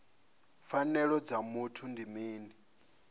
pfanelo dza muthu ndi mini